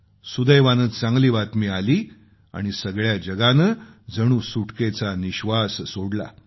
सुदैवानं चांगली बातमी आली आणि सगळ्या जगानं जणू सुटकेचा निश्वास सोडला